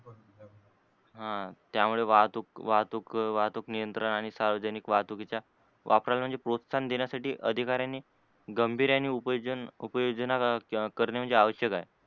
हा त्यामुळे वाहतूक वाहतूक वाहतूक नियंत्रण आणि सार्वजनिक वाहतूक चा वापरण म्हणजे प्रोत्साहन देण्याचा अधिकाऱ्यांनी गांभीर्याने उपयोजन, उपयोजन करणे म्हणजे आवश्यक आहे आहे.